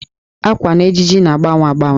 Ákwà na ejiji na-agbanwe agbanwe.